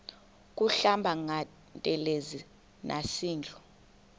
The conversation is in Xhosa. kuhlamba ngantelezi nasidlo